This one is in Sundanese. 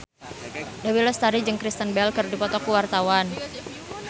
Dewi Lestari jeung Kristen Bell keur dipoto ku wartawan